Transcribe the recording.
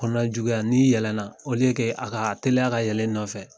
Kɔnɔnan juguya n'i yɛlɛ na o liye ke a ka teliya ka yɛlɛ i nɔfɛ